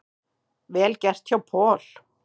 Vel gert hjá Paul.